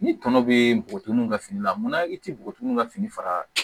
Ni tɔnɔ be bugun ka fini la munna i ti bɔgɔtininw ka fini fara